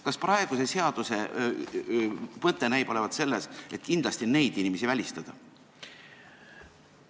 Kas praeguse seaduse mõte näib olevat selles, et kindlasti neid inimesi välistada?